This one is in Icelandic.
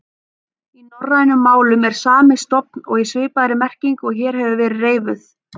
Í norrænum málum er sami stofn og í svipaðri merkingu og hér hefur verið reifuð.